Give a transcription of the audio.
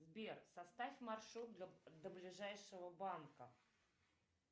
сбер составь маршрут до ближайшего банка